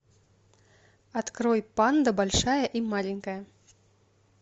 открой панда большая и маленькая